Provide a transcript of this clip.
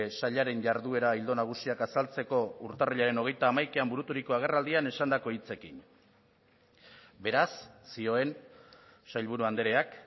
sailaren jarduera ildo nagusiak azaltzeko urtarrilaren hogeita hamaikaean buruturiko agerraldian esandako hitzekin beraz zioen sailburu andreak